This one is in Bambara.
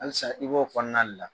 Halisa i b'o kɔnɔna de la.